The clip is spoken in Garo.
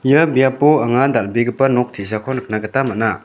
ia biapo anga dal·begipa nok te·sako nikna gita man·a.